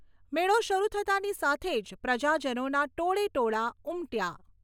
મેળો શરૂ થતાંની સાથે જ પ્રજાજનોના ટોળે ટોળા ઉમટ્યા.